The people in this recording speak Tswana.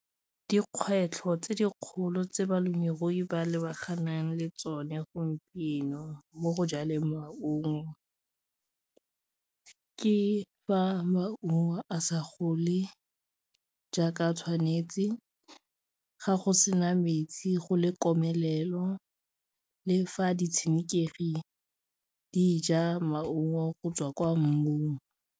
Dikgwetlho tse dikgolo tse balemirui ba lebaganeng le tsone gompieno mo go jaleng maungo ke fa maungo a sa gole e jaaka tshwanetse, ga go sena metsi go le komelelo le fa di tshenekegi di ja maungo go tswa kwa mmung.